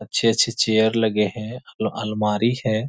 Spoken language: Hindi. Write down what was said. अच्छे-अच्छे चेयर लगे हैं अल अलमारी है।